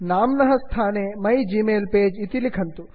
नाम्नः स्थाने my gmail page my gmail page इति लिखन्तु